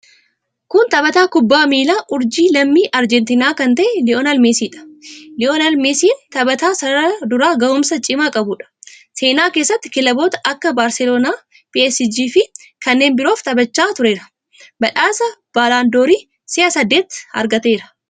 Kun taphataa kubbaa miilaa urjii lammii Arjentiinaa kan ta'e Liyoonel Meesiidha. Liyoonel meesiin taphataa sarara duraa gahumsa cimaa qabuudha. Seenaa keessatti kilaboota akka Baarseloonaa, PSG fi kanneen biroof taphachaa tureera. Badhaasa Baalandoorii si'a saddeet argateera.